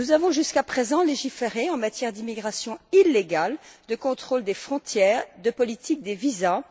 Nous avons jusqu'à présent légiféré en matière d'immigration illégale, de contrôle des frontières, de politique des visas.